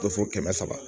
Dɔ fo kɛmɛ saba